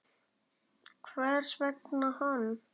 Hvers vegna hann?